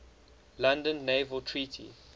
london naval treaty